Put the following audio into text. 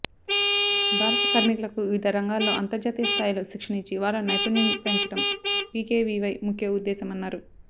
భారత కార్మికులకు వివిధ రంగాల్లో అంతర్జాతీయ స్థాయిలో శిక్షణ ఇచ్చి వారిలో నైపుణ్యం పెంచడం పీకేవీవై ముఖ్య ఉద్దేశమన్నారు